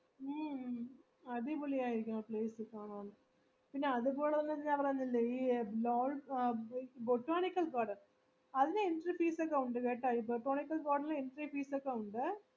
മ്മ് അടിപൊളിയാരിക്കും place ഒക്കെ കാണാൻ പിന്നെ അത്പോലെ തന്നെ അവിടെ ബൊ botanical garden അവിടെ entry fees ഒക്കെ ഉണ്ട് കേട്ട ഈ botanical garden ഉം entry fees ഒക്കെ ഉണ്ട്